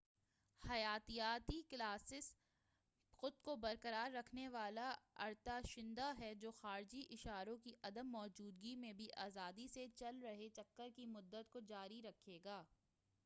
حیاتیاتی کلاکس خود کو برقرار رکھنے والا ارتعاشندہ ہے جو خارجی اشاروں کی عدم موجودگی میں بھی آزادی سے چل رہے چکر کی مدت کو جاری رکھے گا